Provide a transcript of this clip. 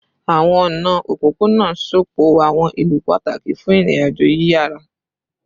Awọn ọna opopona sopọ awọn ilu pataki fun irin-ajo yiyara